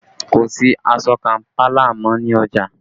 Kò sí aṣọ Kampala mọ́ ní ọjà